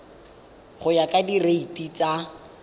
go ya ka direiti tsa